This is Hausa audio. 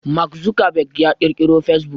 Mark Zuckerberg ya ƙirkiro fasebuk